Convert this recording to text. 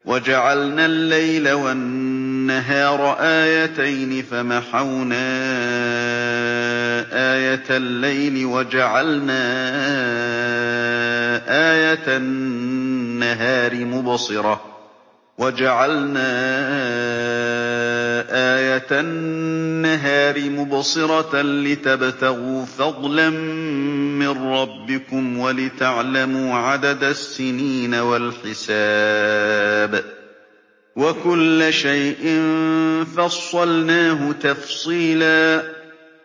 وَجَعَلْنَا اللَّيْلَ وَالنَّهَارَ آيَتَيْنِ ۖ فَمَحَوْنَا آيَةَ اللَّيْلِ وَجَعَلْنَا آيَةَ النَّهَارِ مُبْصِرَةً لِّتَبْتَغُوا فَضْلًا مِّن رَّبِّكُمْ وَلِتَعْلَمُوا عَدَدَ السِّنِينَ وَالْحِسَابَ ۚ وَكُلَّ شَيْءٍ فَصَّلْنَاهُ تَفْصِيلًا